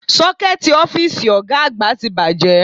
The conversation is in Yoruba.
Ṣọ́kẹ́ẹ̀tì ọ́fíìsì Ọ̀ga àgbà ti bàjẹ́